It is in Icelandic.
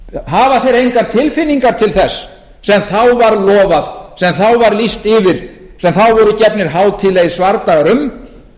hafa þeir engar tilfinningar til þess sem þá var lofað sem þá var lýst yfir sem þá voru gefnir hátíðlegir svardagar um